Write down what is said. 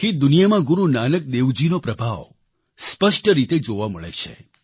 આખી દુનિયામાં ગુરુ નાનક દેવજીનો પ્રભાવ સ્પષ્ટ રીતે જોવા મળે છે